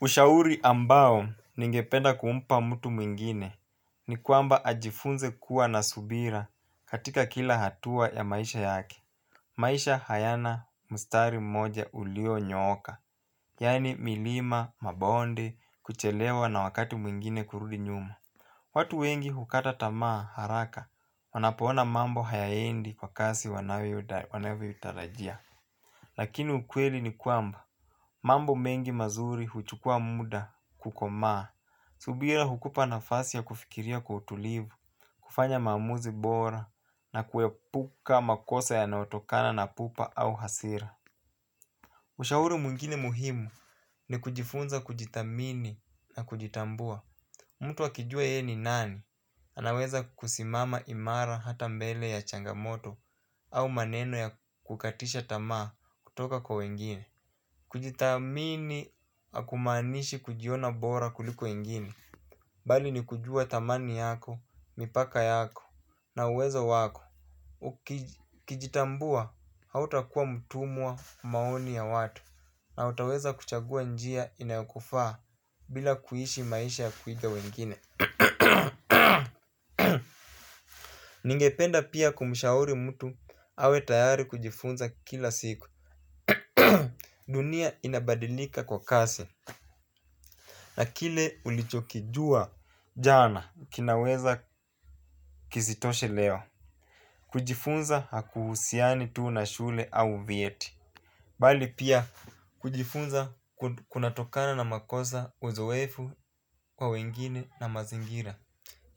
Ushauri ambao ningependa kuumpa mtu mwingine ni kwamba ajifunze kuwa na subira katika kila hatua ya maisha yake. Maisha hayana mstari mmoja ulio nyooka, yani milima, mabonde, kuchelewa na wakati mwingine kurudi nyuma. Watu wengi hukata tamaa haraka wanapoona mambo hayaendi kwa kasi wanavyoitarajia. Lakini ukweli ni kwamba, mambo mengi mazuri huchukua muda kukomaa. Subira hukupa nafasi ya kufikiria kwa utulivu, kufanya maamuzi bora na kuepuka makosa yanayotokana na pupa au hasira. Ushauri mwingine muhimu ni kujifunza kujidhamini na kujitambua. Mtu akijua ye ni nani? Anaweza kusimama imara hata mbele ya changamoto au maneno ya kukatisha tamaa kutoka kwa wengine. Kujidhamini hakumanishi kujiona bora kuliko wengine. Bali ni kujua dhamani yako, mipaka yako, na uweza wako. Ukijitambua, hauta kuwa mtumwa maoni ya watu. Na utaweza kuchagua njia inayokufaa bila kuishi maisha ya kuiga wengine. Ningependa pia kumshauri mtu awe tayari kujifunza kila siku. Dunia inabadilika kwa kasi. Na kile ulichokijua jana kinaweza kisitoshe leo. Kujifunza hakuhusiani tu na shule au vyeti. Bali pia kujifunza kuna tokana na makosa uzoefu kwa wengine na mazingira